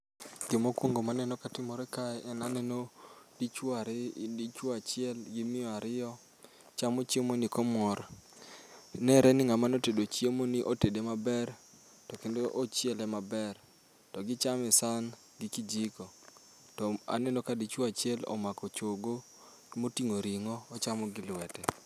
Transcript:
Gima okuongo ma aneno katimore kae en ni aneno dichuo ariyo, dichuo achiel gi miyo ariyo, chamo chiemoni komor. Nenre ni ng'ama ne otedo chiemoni ne otede maber to kendo ochiele maber. To gichame esan gi kijiko to aneno ka dichuo achiel omako chogo moting'o ring'o ochamo gi lwete.